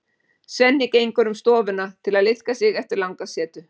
Svenni gengur um stofuna til að liðka sig eftir langa setu.